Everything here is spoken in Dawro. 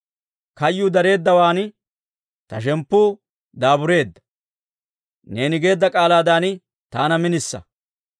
Kayyuu dareeddawaan ta shemppuu daabureedda; neeni geedda k'aalaadan taana minisa.